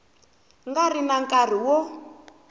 nga ri na nkarhi wo